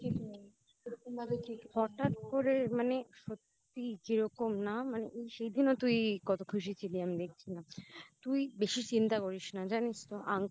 হঠাৎ করে মানে সত্যিই কিরকম না মানে সেদিনও তুই কত খুশি ছিলি আমি দেখছিলাম তুই বেশি চিন্তা করিস না জানিস তো